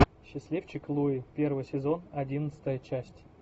счастливчик луи первый сезон одиннадцатая часть